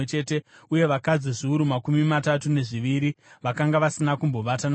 uye vakadzi zviuru makumi matatu nezviviri vakanga vasina kumbovata navarume.